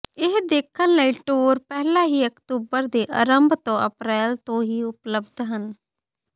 ਇਹ ਦੇਖਣ ਲਈ ਟੂਰ ਪਹਿਲਾਂ ਹੀ ਅਕਤੂਬਰ ਦੇ ਅਰੰਭ ਤੋਂ ਅਪਰੈਲ ਤੋਂ ਹੀ ਉਪਲਬਧ ਹਨ